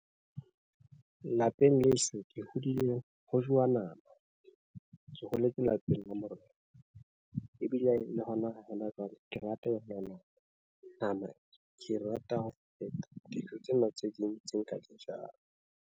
Lapeng leso, ke hodile ho jowa nama. Ke holetse lapeng la morena, ebile le hona hona jwale. Ke rata e nama, ke rata ho feta dijo tsena tse ding tse nka di jang.